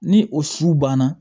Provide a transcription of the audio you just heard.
Ni o su banna